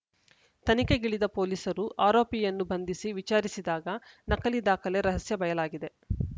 ತನಿಖೆಗಿಳಿದ ಪೊಲೀಸರು ಆರೋಪಿಯನ್ನು ಬಂಧಿಸಿ ವಿಚಾರಿಸಿದಾಗ ನಕಲಿ ದಾಖಲೆ ರಹಸ್ಯ ಬಯಲಾಗಿದೆ